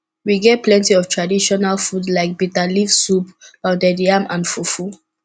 we get plenty of traditional food like biterleaves soup pounded yam and fufu